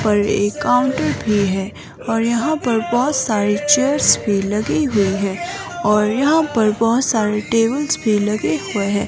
पर एक काउंटर भी है और यहां पर बहुत सारी चेयर्स भी लगी हुई है और यहां पर बहुत सारे टेबल्स भी लगे हुए हैं।